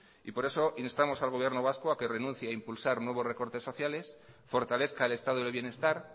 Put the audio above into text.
y por eso instamos al gobierno vasco a que renuncie a impulsar nuevos recortes sociales fortalezca el estado del bienestar